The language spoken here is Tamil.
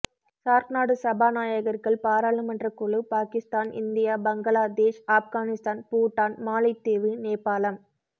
சார்க் நாடு சபாநாயகர்கள் பாராளுமன்ற குழு பாகிஸ்தான் இந்தியா பங்களாதேஷ் ஆப்கானிஸ்தான் பூட்டான் மாலைத்தீவு நேபாளம்